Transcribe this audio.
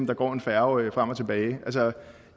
der går en færge frem og tilbage